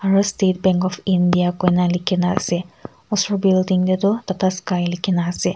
aru state bank of India koina likhina ase osor building te toh tata sky likhina ase.